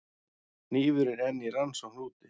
Hnífurinn enn í rannsókn úti